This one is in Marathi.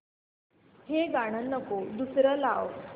हे गाणं नको दुसरं लाव